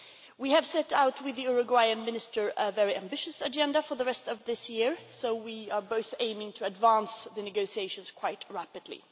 We have set out with the Uruguayan Minister a very ambitious agenda for the rest of this year, so we are both aiming to advance the negotiations quite rapidly.